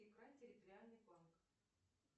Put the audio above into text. икра территориальный банк